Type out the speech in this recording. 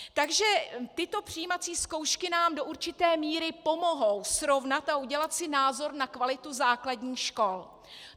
Takže tyto přijímací zkoušky nám do určité míry pomohou srovnat a udělat si názor na kvalitu základních škol.